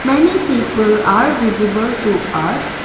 many people are visible to us.